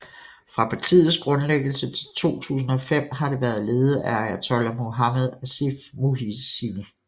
Fra partiets grundlæggelse til 2005 har det været ledet af ayatollah Muhammad Asif Muhsini